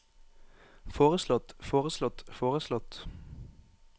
foreslått foreslått foreslått